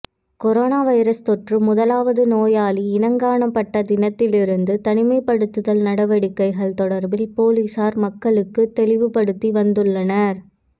corona virus தொற்று முதலாவது நோயாளி இனங்காணப்பட்ட தினத்திலிருந்து தனிமைப்படுத்தல் நடவடிக்கைகள் தொடர்பில் பொலிசார் மக்களுக்கு தெளிவு படுத்தி வந்துள்ளனர்